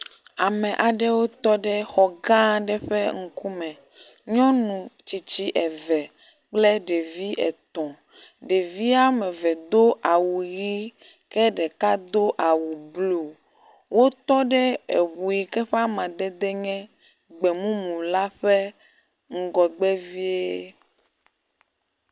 Ame aɖewo tɔ ɖe xɔ ga aɖe ƒe ŋku me, nyɔnu tsitsi eve kple ɖevi etɔ̃, ɖevia meve do awu ʋi ke ɖeka do awu blue, wotɔ ɖe eŋu yi ke ƒe amadede nye gbemumu la ƒe ŋgɔ vie